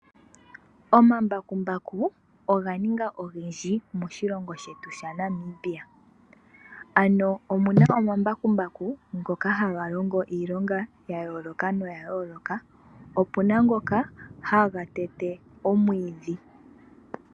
Omambakumbaku oga ninga ogendji moshilongo shetu shaNamibia ano omuna omambakumbaku ngono haga longo iilonga yayooloka noya yooloka opena ngoka haga tete omwiidhi.